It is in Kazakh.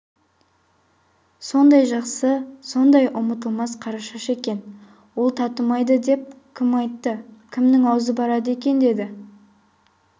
сондай жақсы сондай ұмытылмас қарашаш екен ол татымайды деп кім айтты кімнің аузы барады екен деді